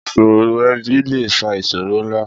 Ìṣòro ẹbí lè fa ìṣòro ńlá.